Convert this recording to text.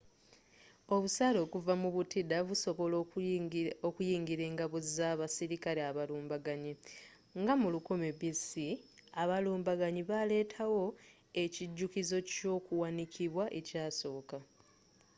obusaale okuva mu butida busobola okuyingila engabo z'abasirikale abalumbaganyi nga mu 1000 b.c. abalumbaganyi baaletawo ekijukizo kyokuwanikibwa ekyasooka